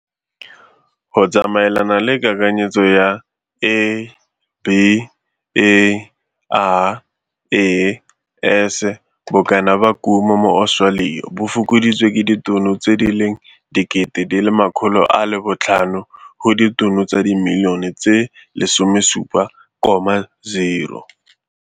Go tsamaelana le kakanyetso ya ABARES, bokana ba kumo mo Australia bo fokoditswe ka ditono tse di leng 500,000 go ditono tsa dimilione tse 17,0.